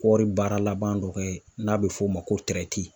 Kɔɔri baara laban dɔ kɛ, n'a bɛ f'o ma ko